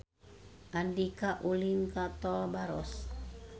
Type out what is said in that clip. Andika ulin ka Tol Baros